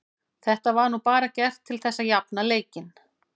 Þetta var nú bara gert til þess að jafna leikinn.